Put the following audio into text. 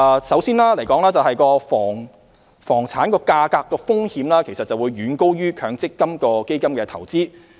首先，房產價格的風險遠高於強積金基金投資。